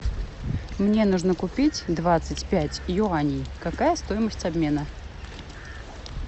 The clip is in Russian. мне нужно купить двадцать пять юаней какая стоимость обмена